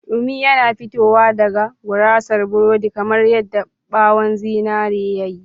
Dumi yana fitowa daga gurasar burodi kamar yadda ɓawon zinare ya yi.